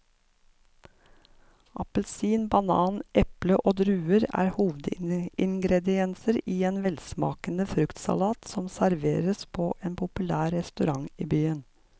Appelsin, banan, eple og druer er hovedingredienser i en velsmakende fruktsalat som serveres på en populær restaurant i byen.